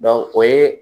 o ye